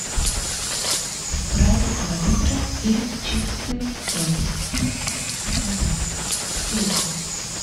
спрайт два литра и чипсы лэйс со сметаной и луком